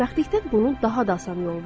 Xoşbəxtlikdən bunun daha da asan yolu var.